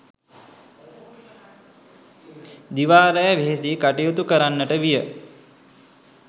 දිවා රෑ වෙහෙසී කටයුතු කරන්නට විය.